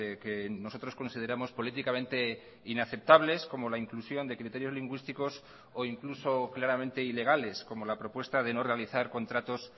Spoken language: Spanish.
que nosotros consideramos políticamente inaceptables como la inclusión de criterios lingüísticos o incluso claramente ilegales como la propuesta de no realizar contratos